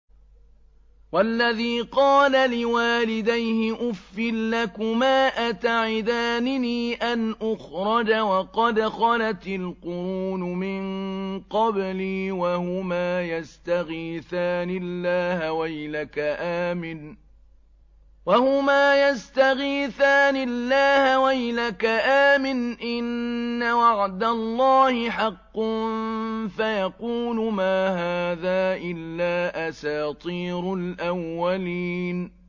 وَالَّذِي قَالَ لِوَالِدَيْهِ أُفٍّ لَّكُمَا أَتَعِدَانِنِي أَنْ أُخْرَجَ وَقَدْ خَلَتِ الْقُرُونُ مِن قَبْلِي وَهُمَا يَسْتَغِيثَانِ اللَّهَ وَيْلَكَ آمِنْ إِنَّ وَعْدَ اللَّهِ حَقٌّ فَيَقُولُ مَا هَٰذَا إِلَّا أَسَاطِيرُ الْأَوَّلِينَ